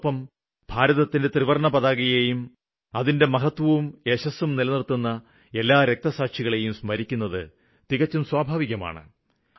അതോടൊപ്പം ഭാരതത്തിന്റെ ത്രിവര്ണ്ണ പതാകയേയും അതിന്റെ മഹത്വവും യശസ്സും നിലനിര്ത്തുന്ന എല്ലാ രക്തസാക്ഷികളേയും സ്മരിക്കുന്നത് തികച്ചും സ്വാഭാവികമാണ്